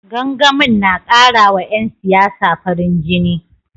Gangamin na karawa 'yan siyasa farin jini